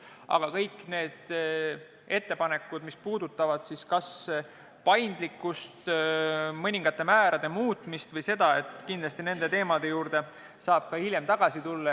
Aga kõik need ettepanekud, mis puudutavad kas paindlikkust, mõningate määrade muutmist vms, kindlasti saab nende teemade juurde hiljem tagasi tulla.